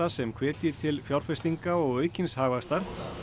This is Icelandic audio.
sem hvetji til fjárfestinga og aukins hagvaxtar